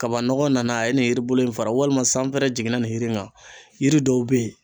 Kabanɔgɔ nana a ye nin yiri in fara ,walima sanpɛrɛn jiginna nin yiri in na. Yiri dɔw be yen